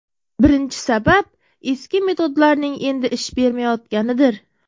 Birinchi sabab: Eski metodlarning endi ish bermayotganidir.